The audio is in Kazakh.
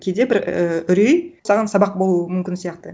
кейде бір ііі үрей саған сабақ болуы мүмкін сияқты